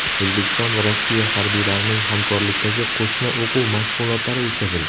O‘zbekiston va Rossiya harbiylarining hamkorlikdagi qo‘shma o‘quv mashg‘ulotlari o‘tkazildi .